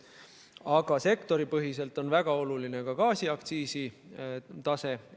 Aga sektoripõhiselt on väga oluline ka gaasiaktsiisi tase.